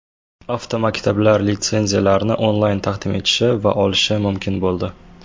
Avtomaktablar litsenziyalarni onlayn taqdim etishi va olishi mumkin bo‘ldi.